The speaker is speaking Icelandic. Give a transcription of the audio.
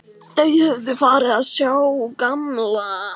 Þau höfðu farið að sjá gamla